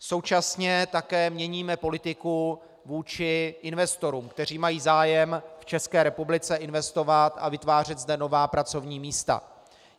Současně také měníme politiku vůči investorům, kteří mají zájem v České republice investovat a vytvářet zde nová pracovní místa.